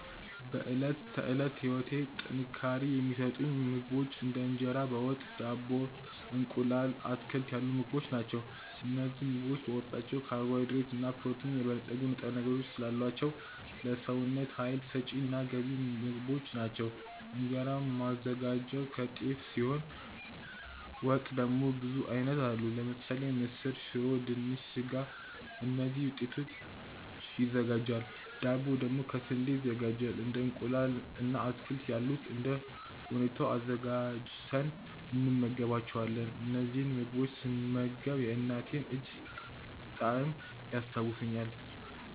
በዕለት ተዕለት ህይወቴ ጥንካሬ የሚሰጡኝ ምግቦች እንደ እንጀራ በ ወጥ፣ ዳቦ፣ እንቁላል፣ አትክልት ያሉ ምግቦች ናቸው። እነዚህ ምግቦች በውስጣቸው ካርቦሃይድሬት እና በፕሮቲን የበለፀጉ ንጥረ ነገሮች ስላሏቸው ለሰውነት ሀይል ሰጪ እና ገንቢ ምግቦች ናቸው። እንጀራ ማዘጋጀው ከጤፍ ሲሆን ወጥ ደግሞ ብዙ አይነት አሉ ለምሳሌ ምስር፣ ሽሮ፣ ድንች፣ ስጋ ከእነዚህ ውጤቶች ይዘጋጃል ዳቦ ደግሞ ከ ስንዴ ይዘጋጃል እንደ እንቁላል እና አትክልት ያሉት እንደ ሁኔታው አዘጋጅተን እንመገባቸዋለን። እነዚህን ምግቦች ስመገብ የእናቴን እጅ ጣዕም ያስታውሱኛል።